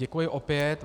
Děkuji opět.